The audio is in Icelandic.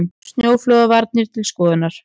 Snjóflóðavarnir til skoðunar